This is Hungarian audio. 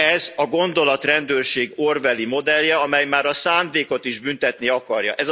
Ez a gondolatrendőrség orwelli modellje, amely már a szándékot is büntetni akarja.